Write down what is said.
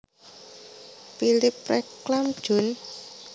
Philipp Reclam jun